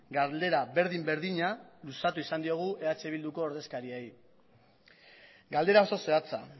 galdera berdin berdina luzatu izan diogu eh bilduko ordezkariei galdera oso zehatza